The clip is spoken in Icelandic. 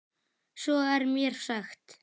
Svo er mér sagt.